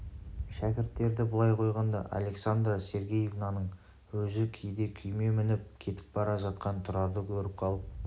шәкірттерді былай қойғанда александра сергеевнаның өзі кейде күйме мініп кетіп бара жатқан тұрарды көріп қалып